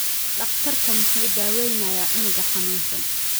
Daktarka muxu daaweynaya cunuga xanunsan.